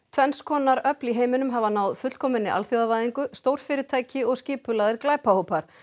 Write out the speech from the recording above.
tvenns konar öfl í heiminum hafa náð fullkominni alþjóðavæðingu stórfyrirtæki og skipulagðir glæpahópar